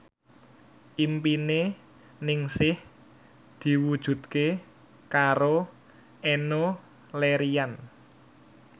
impine Ningsih diwujudke karo Enno Lerian